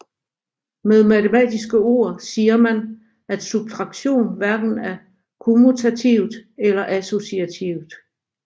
Med matematiske ord siger man at subtraktion hverken er kommutativt eller associativt